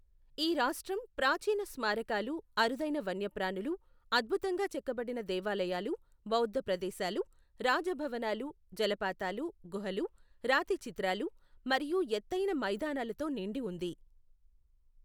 ఈ రాష్ట్రం ప్రాచీన స్మారకాలు, అరుదైన వన్యప్రాణులు, అద్భుతంగా చెక్కబడిన దేవాలయాలు, బౌద్ధ ప్రదేశాలు, రాజభవనాలు, జలపాతాలు, గుహలు, రాతి చిత్రాలు, మరియు ఎత్తైన మైదానాలతో నిండి ఉంది.